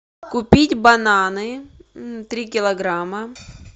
купить бананы три килограмма